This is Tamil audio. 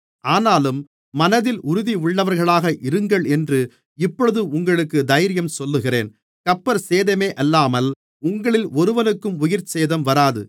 ஆனாலும் மனதில் உறுதியுள்ளவர்களாக இருங்களென்று இப்பொழுது உங்களுக்குத் தைரியஞ்சொல்லுகிறேன் கப்பற்சேதமேயல்லாமல் உங்களில் ஒருவனுக்கும் உயிர்சேதம் வராது